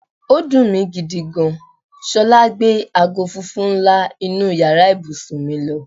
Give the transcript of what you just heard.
Ó dùn mi gidi gan. S̩o̩lá gbe aago funfun ńlá inú yàrá ibùsùn mi lo̩.